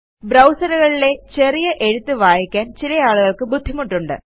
Browserകളിലെ ചെറിയ എഴുത്ത് വായിക്കാൻ ചിലയാളുകള്ക്ക് ബുദ്ധിമുട്ടുണ്ട്